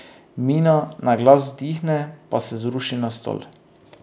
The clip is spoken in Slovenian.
Mina na glas vzdihne pa se zruši na stol.